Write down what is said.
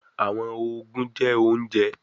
Awọn oogun jẹ ounjẹ